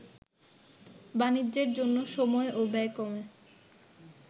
বাণিজ্যের জন্য সময় ও ব্যয় কমে